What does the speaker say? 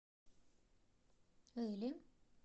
эле